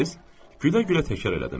Gülə-gülə təkrar elədim.